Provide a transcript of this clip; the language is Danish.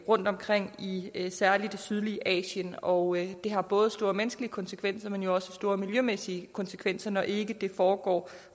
rundtomkring i i særlig det sydlige asien og det har både store menneskelige konsekvenser men også store miljømæssige konsekvenser når ikke det foregår